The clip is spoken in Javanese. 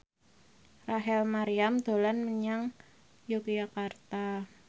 Rachel Maryam dolan menyang Yogyakarta